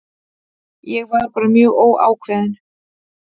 Ég var bara mjög óákveðinn.